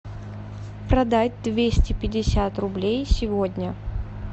продать двести пятьдесят рублей сегодня